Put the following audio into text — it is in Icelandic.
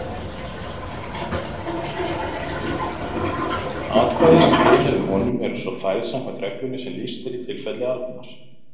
Atkvæði sem tilheyrðu honum eru svo færð samkvæmt reglunni sem lýst er í tilfelli Arnar.